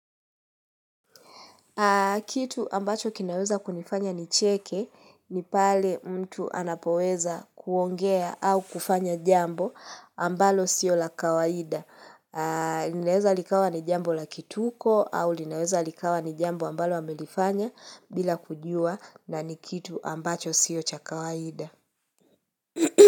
Kitu ambacho kinaweza kunifanya nicheke ni pale mtu anapoweza kuongea au kufanya jambo ambalo sio la kawaida. Linaweza likawa ni jambo la kituko au linaweza likawa ni jambo ambalo amelifanya bila kujua na nikitu ambacho sio cha kawaida.